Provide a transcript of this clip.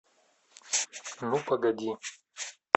ну погоди